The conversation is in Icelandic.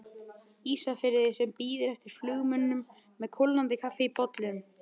Ísafirði sem bíður eftir flugmönnum með kólnandi kaffi í bollum.